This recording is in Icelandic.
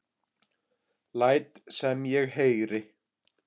Læt sem ég heyri.